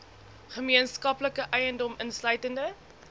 gemeenskaplike eiendom insluitende